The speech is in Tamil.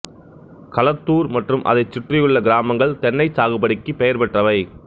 களத்துாா் மற்றும் அதைச்சுற்றியுள்ள கிராமங்கள் தென்னை சாகுபடிக்கு பெயா் பெற்றவை